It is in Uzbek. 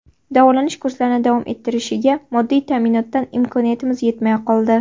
Davolanish kurslarini davom ettirishiga moddiy ta’minotdan imkoniyatimiz yetmay qoldi.